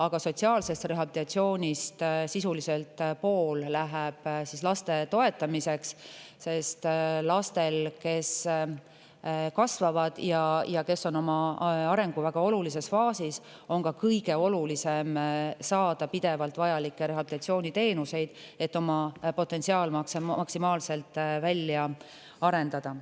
Aga sotsiaalse rehabilitatsiooni sisuliselt pool läheb laste toetamiseks, sest lastel, kes kasvavad ja on oma arengu väga olulises faasis, on kõige olulisem saada pidevalt vajalikke rehabilitatsiooniteenuseid, et oma potentsiaal maksimaalselt välja arendada.